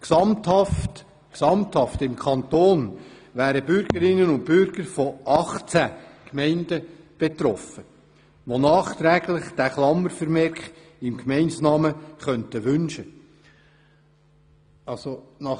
Im gesamten Kanton wären Bürgerinnen und Bürger von 18 Gemeinden betroffen, welche diesen Klammervermerk im Gemeindenamen nachträglich wünschen könnten.